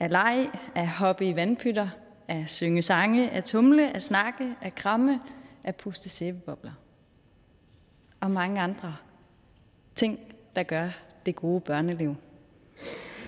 leg at hoppe i vandpytter at synge sange at tumle at snakke at kramme at puste sæbebobler og mange andre ting der gør det gode børneliv